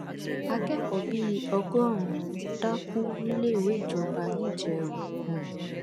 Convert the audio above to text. akẹkọọ bíi ọgọ́rùn-ún dákú níléèwé ìjọba ńijẹrọ um